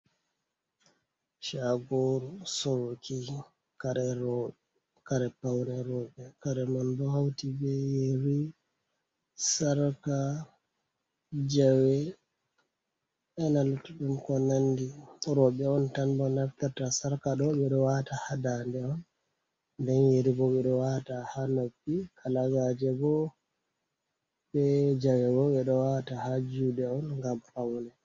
Shagoru soruki kare paune roɓe. Kare man bo hauti be yeri, sarka, jawe ena'luttuɗum ko nandi. Roɓe on tan bo naftirta sarka ɗo ɓeɗo wata ha daande on nden yeri bo ɓeɗo wata ha noppi, kalagaje bo be jawe bo bedo wata ha juɗe on gam paune.